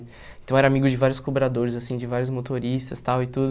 Então eu era amigo de vários cobradores, assim, de vários motoristas, tal, e tudo.